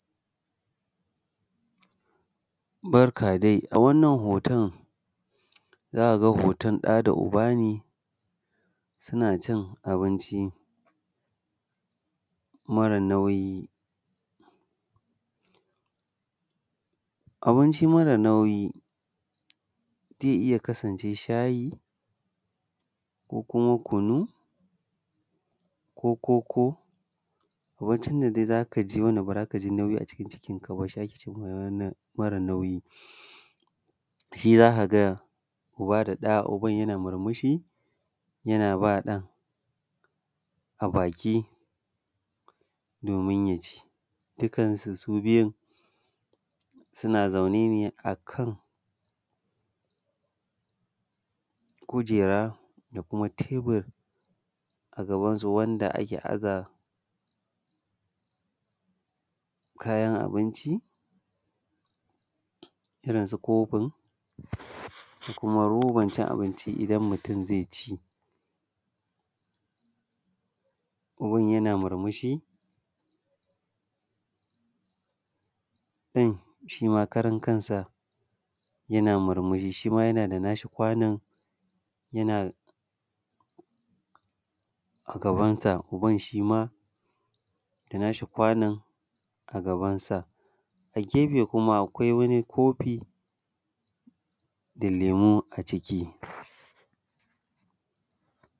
Barka dai, a wannan hoton za a ga hoton ɗa da uba ne suna cin abinci mara nauyi. Abinci mara nauyi zai iya kasancewa shayi, ko kuma kunu, ko koko, abinci dai da za ka ci ba za ka ji nauyi a cikin cikin ka ba, shi ake ce ma mara nauyi. Shi za ka ga uba da ɗa. uban yana murmushi yana ba ɗan a baki domin ya ci. Dukan su su biyun suna zaune ne a kan kujera da kuma tabur a gabansu wanda ake aza kayan abinci irin su kofin da roban cin abinci idan mutun zai ci. Uban yana murmushi ɗan shi ma karan kansa yana murmushi, shima yana da na shi kwanon a gabansa, uban shi ma da na shi kwanon a gabansa. A gefe kuma akwai wani kofi da lemo a ciki.